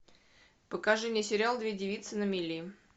покажи мне сериал две девицы на мели